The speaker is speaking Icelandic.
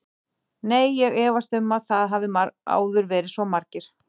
Nei, ég efast um að það hafi áður verið svo margir.